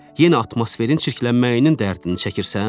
Yenə atmosferin çirklənməyinin dərdini çəkirsən?